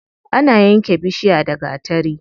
Ana yanke bishiya da gatari.